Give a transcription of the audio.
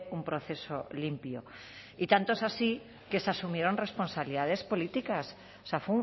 un proceso limpio y tanto es así que se asumieron responsabilidades políticas o sea